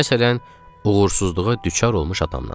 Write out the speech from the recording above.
Məsələn, uğursuzluğa düçar olmuş adamdan.